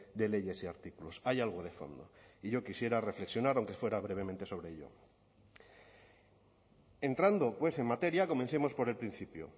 de leyes y artículos hay algo de fondo y yo quisiera reflexionar aunque fuera brevemente sobre ello entrando en materia comencemos por el principio